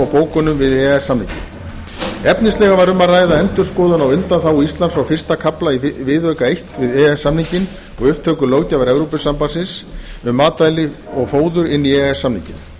bókunum við e e s samninginn efnislega var um að ræða endurskoðun á undanþágu íslands frá fyrsta kafla í viðauka eins við e e s samninginn og upptöku löggjafar evrópusambandsins um matvæli og fóður inn í e e s samninginn